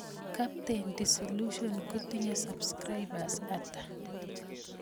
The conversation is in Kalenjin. Captain disillusion kotinyee subscribers atak